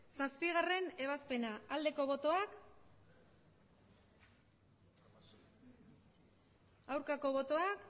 zazpigarrena ebazpena aldeko botoak aurkako botoak